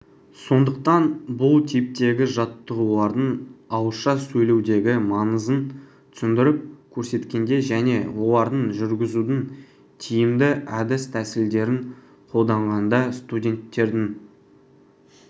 сондықтан бұл типтегі жаттығулардың ауызша сөйлеудегі маңызын түсіндіріп көрсеткенде және оларды жүргізудің тиімді әдіс-тәсілдерін қолданғанда студенттердің